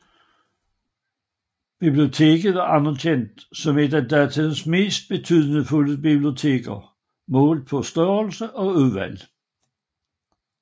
Biblioteket var anerkendt som et af datidens mest betydningsfulde biblioteker målt på størrelse og udvalg